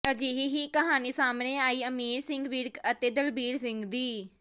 ਅਜਿਹੀ ਹੀ ਕਹਾਣੀ ਸਾਹਮਣੇ ਆਈ ਅਮੀਰ ਸਿੰਘ ਵਿਰਕ ਅਤੇ ਦਲਬੀਰ ਸਿੰਘ ਦੀ